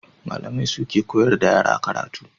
Malamai su ke koyar da yara karatu.